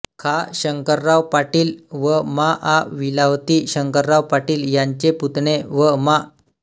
खा शंकरराव पाटील व मा आ लिलावती शंकरराव पाटील यांचे पुतणे व मा